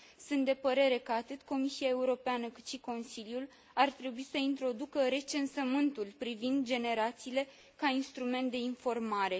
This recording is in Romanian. Sunt de părere că atât Comisia Europeană, cât și Consiliul ar trebui să introducă recensământul privind generațiile ca instrument de informare.